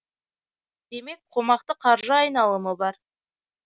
демек қомақты қаржы айналымы бар